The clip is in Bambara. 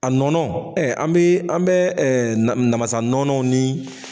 A nɔnɔ ɛɛ an be an bɛ ɛ na namasa nɔnɔw ni